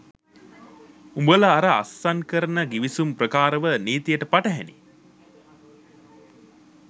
උඹල අර අස්සන් කරන ගිවිසුම් ප්‍රකාරව නීතියට පටහැනියි